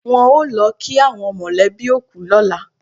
Wọ́n ó lọ kí àwọn mọ̀lẹ́bí òkú lọ́la.